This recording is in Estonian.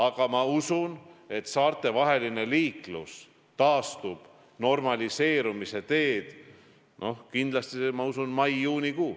Aga ma usun, et saartevaheline liiklus taastub, läheb normaliseerumise teed kindlasti mais ja juunikuus.